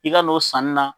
I ka n'o sanni na